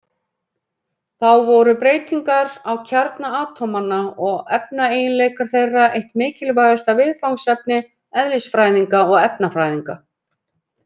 Þá voru breytingar á kjarna atómanna og efnaeiginleikar þeirra eitt mikilvægasta viðfangsefni eðlisfræðinga og efnafræðinga.